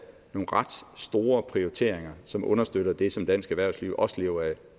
nogle ret store prioriteringer som understøtter det som dansk erhvervsliv også lever af